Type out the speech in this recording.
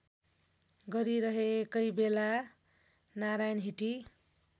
गरिरहेकै बेला नारायणहिटी